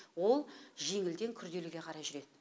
ол жеңілден күрделіге қарай жүред